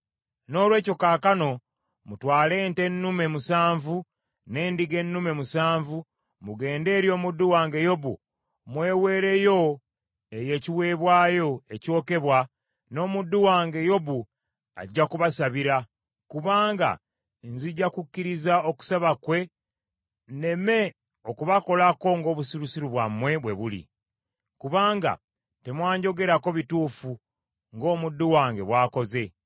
Noolwekyo kaakano mutwale ente ennume musanvu, n’endiga ennume musanvu, mugende eri omuddu wange Yobu, mweweereyo eyo ekiweebwayo ekyokebwa, n’omuddu wange Yobu ajja kubasabira, kubanga nzija kukkiriza okusaba kwe nneme okubakolako ng’obusirusiru bwammwe bwe buli. Kubanga temwanjogerako bituufu ng’omuddu wange bw’akoze.”